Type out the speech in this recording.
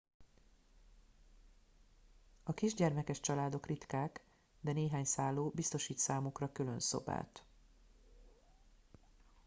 a kisgyermekes családok ritkák de néhány szálló biztosít számukra külön szobát